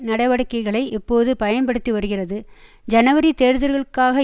நடவடிக்கைகளை இப்போது பயன்படுத்திவருகிறது ஜனவரி தேர்தல்களுக்காக